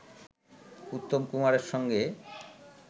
উত্তম কুমারের সঙ্গে